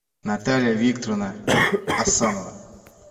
наталья викторовна асанова